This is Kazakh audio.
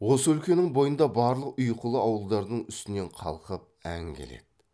осы өлкенің бойында барлық ұйқылы ауылдардың үстінен қалқып ән келеді